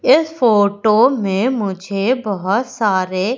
इस फोटो में मुझे बहोत सारे--